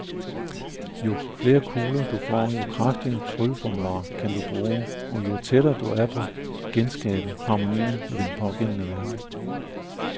Jo flere kugler du får, jo kraftigere trylleformularer kan du bruge, og jo tættere er du på at genskabe harmonien i den pågældende verden.